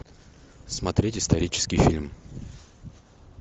смотреть исторический фильм